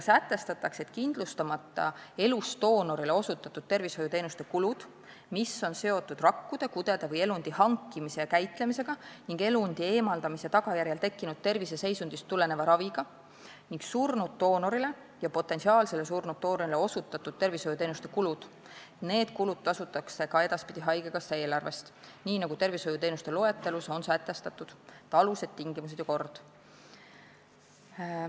Sätestatakse, et kindlustamata elusdoonorile osutatud tervishoiuteenuste kulud, mis on seotud rakkude, kudede või elundi hankimise ja käitlemisega ning elundi eemaldamise tagajärjel tekkinud terviseseisundist tuleneva raviga, ning surnud doonorile ja potentsiaalsele surnud doonorile osutatud tervishoiuteenuste kulud tasutakse ka edaspidi haigekassa eelarvest tervishoiuteenuste loetelus sätestatud alustel, tingimustel ja korras.